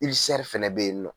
fana bɛ yeni nɔ.